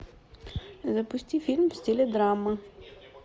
запусти фильм в стиле драма